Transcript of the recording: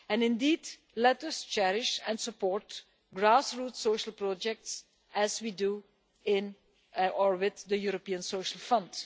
Indeed, let us cherish and support grassroots social projects as we do with the European Social Fund.